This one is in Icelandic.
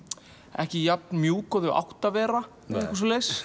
ekki jafn mjúk og þau áttu að vera eitthvað svoleiðis